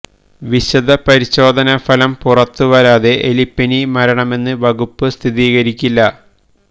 വിശദ പരിശോധനാ ഫലം പുറത്തുവരാതെ എലിപ്പനി മരണമെന്ന് വകുപ്പ് സ്ഥിരീകരിക്കില്ല